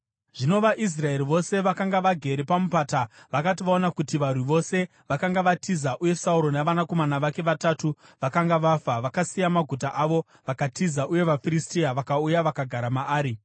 Zvino vaIsraeri vose vakanga vagere pamupata vakati vaona kuti varwi vose vakanga vatiza uye Sauro navanakomana vake vatatu vakanga vafa, vakasiya maguta avo vakatiza. Uye vaFiristia vakauya vakagara maari.